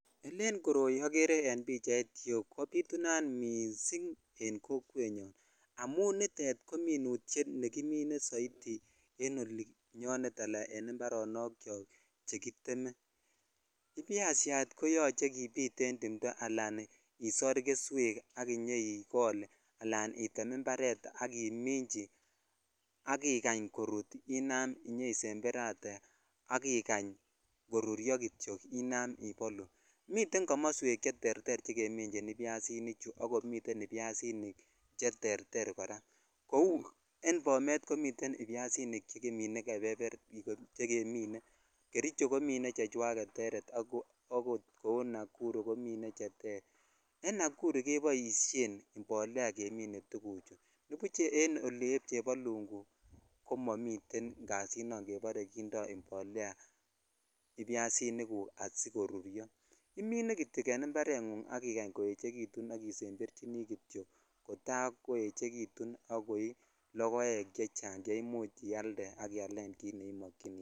Ele koroi ofer en pichait yuu kobitunat missing en kokwet nyun anun nitet ko minutes nekimine soiti en olinyonet ala en imparonok chok chekiteme ibyashat koyoche kibit en timto alan isor geswk akol alan item imparet ak omichi ak ikany korut inam isemberatee ak ikany koruryo kityok inam ibolu miten komoswek che terter che kemichin ibyasini chu akomiten ibyasinik che terter kora kou en bomet komiten chemine kericho komine chechwaget cheter akot kou nakuru komine chechwak che ter en nakuru keboishen imbolea kemine tukuchuton nebuch en oli eb chebalungu komomiten kasinun kebore kindo imbolea ibyasinik guk sikoruryo imene kityo en imparengug ak ikany koechekitu ak isembechini kityok kotai kochekitu ak koii lokoek chechang che imuch ak ialen kit neimokyini kei.